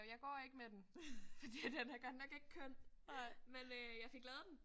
Og jeg går ikke med fordi at den er godt nok ikke køn. Men jeg fik lavet den